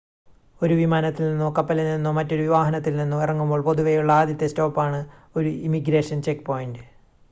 ഒരു വിമാനത്തിൽ നിന്നോ കപ്പലിൽ നിന്നോ മറ്റൊരു വാഹനത്തിൽ നിന്നോ ഇറങ്ങുമ്പോൾ പൊതുവെയുള്ള ആദ്യത്തെ സ്റ്റോപ്പാണ് ഒരു ഇമിഗ്രേഷൻ ചെക്ക് പോയിൻ്റ്